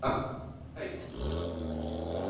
Var hún sæt?